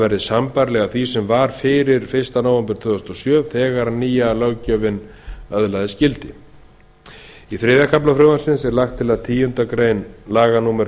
verði sambærilegar því sem var fyrir fyrsta nóvember tvö þúsund og sjö þegar nýja löggjöfin öðlaðist gildi í þriðja kafla frumvarpsins er lagt til að tíunda grein laga númer